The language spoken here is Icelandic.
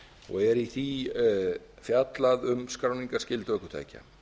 og er í því fjallað um skráningarskyldu ökutækja